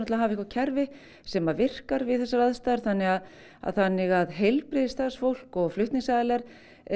hafa eitthvað kerfi sem virkar við þessar aðstæður þannig að þannig að heilbrigðisstarfsfólk og flutningsaðilar